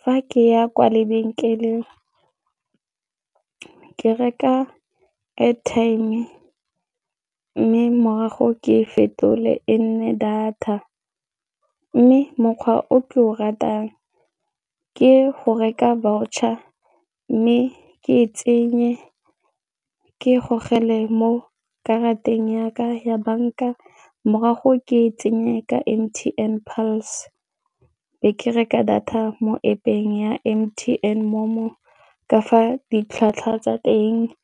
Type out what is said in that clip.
Fa ke ya kwa lebenkeleng ke reka airtime mme morago ke e fetole e nne data mme mokgwa o ke o ratang ke go reka voucher mme ke e tsenye, ke gogele mo karateng yaka ya banka morago ke e tsenye ka M_T_N Pulse be ke reka data mo App-eng ya M_T_N ka fa ditlhwatlhwa tsa teng